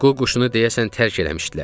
Ququşunu deyəsən tərk eləmişdilər.